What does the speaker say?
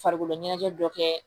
Farikolo ɲɛnajɛ dɔ kɛ